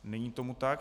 Není tomu tak.